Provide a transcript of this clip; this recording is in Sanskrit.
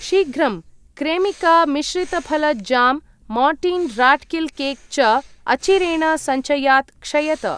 शीघ्रं! क्रेमिका मिश्रितफल jam, Mortein rat kill cake च अचिरेण सञ्चयात् क्षयत।